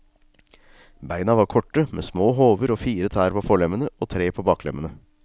Beina var korte, med små hover og fire tær på forlemmene og tre på baklemmene.